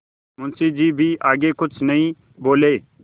मुंशी जी भी आगे कुछ नहीं बोले